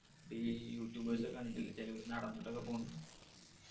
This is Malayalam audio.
ഈ youtube ഒക്കെ കണ്ടിട്ടില്ല ചിലവര് നടന്നിട്ട് ഒക്കെ പോകുന്നത്?